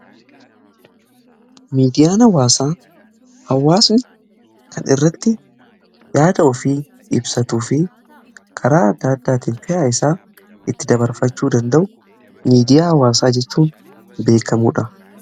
Miidiyaa hawaasaa, hawaasni kan irratti yaada ofii ibsatuu fi karaa adda addaatiin fedha isaa itti dabarfachuu danda'u miidiyaa hawaasaa jechuun beekamudha.